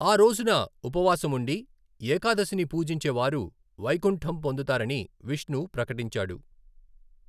ఆ రోజున ఉపవాసం ఉండి ఏకాదశిని పూజించే వారు వైకుంఠం పొందుతారని విష్ణు ప్రకటించాడు.